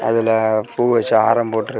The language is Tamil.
அதுல பூ வச்சு ஆரம் போட்டுர்.